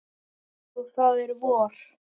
Og það er vor.